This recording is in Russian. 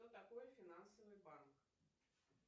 что такое финансовый банк